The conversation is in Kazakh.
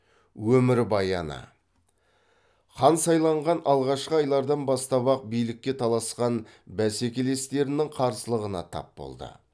өмірбаяны хан сайланған алғашқы айлардан бастап ақ билікке таласқан бәсекелестерінің қарсылығына тап болды